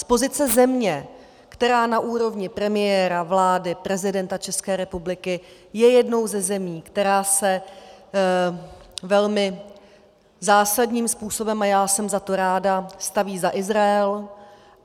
Z pozice země, která na úrovni premiéra, vlády, prezidenta České republiky je jednou ze zemí, která se velmi zásadním způsobem, a já jsem za to ráda, staví za Izrael.